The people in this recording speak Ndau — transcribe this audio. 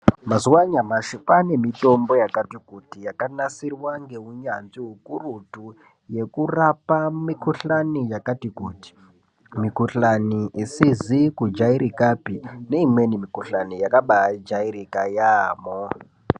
Mazuwa anyashi paane mithombo yakati kuti yakanasirwa ngeunyanzvi hukurutu yekurapa mikhuhlani yakati kuti. Mikhulani isizizi kujairikapi neimweni mikhuhlani yakabaajairika yaampho.